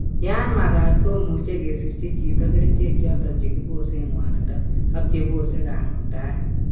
Yaan makat ko muche kesirchi chito kerichek choton chegibosen ngwanindo ak chebose kangungndaet